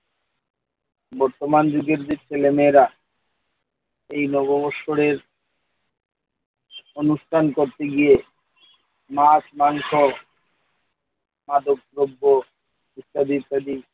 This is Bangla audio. বর্তমান যুগের যে ছেলেমেয়েরা এই নববৎসরের অনুষ্ঠান করতে গিয়ে মাছ, মাংস, মাদকদ্রব্য ইত্যাদি ইত্যাদি